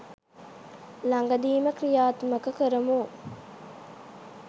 ළඟදීම ක්‍රියාත්මක කරමු.